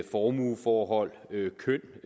formueforhold køn